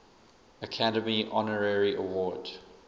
academy honorary award